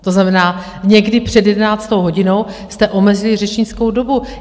To znamená, někdy před jedenáctou hodinou jste omezili řečnickou dobu.